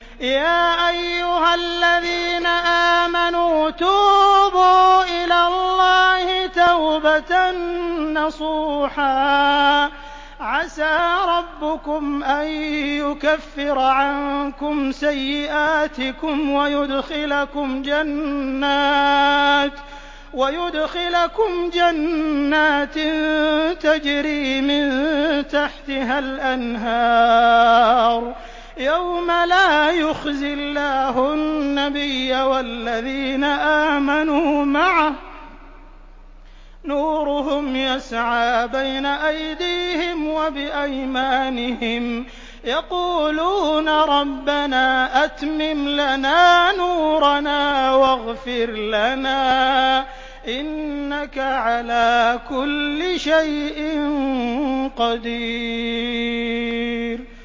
يَا أَيُّهَا الَّذِينَ آمَنُوا تُوبُوا إِلَى اللَّهِ تَوْبَةً نَّصُوحًا عَسَىٰ رَبُّكُمْ أَن يُكَفِّرَ عَنكُمْ سَيِّئَاتِكُمْ وَيُدْخِلَكُمْ جَنَّاتٍ تَجْرِي مِن تَحْتِهَا الْأَنْهَارُ يَوْمَ لَا يُخْزِي اللَّهُ النَّبِيَّ وَالَّذِينَ آمَنُوا مَعَهُ ۖ نُورُهُمْ يَسْعَىٰ بَيْنَ أَيْدِيهِمْ وَبِأَيْمَانِهِمْ يَقُولُونَ رَبَّنَا أَتْمِمْ لَنَا نُورَنَا وَاغْفِرْ لَنَا ۖ إِنَّكَ عَلَىٰ كُلِّ شَيْءٍ قَدِيرٌ